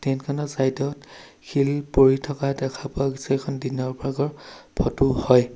Train খনৰ side ত শিল পৰি থকা দেখা পোৱা গৈছে এইখন দিনৰ ভাগৰ ফটো হয়।